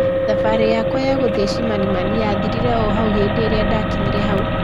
Thabarĩ yakwa ya guthĩi Chimanimani yathirire o hau hĩndi ĩria ndakinyire hau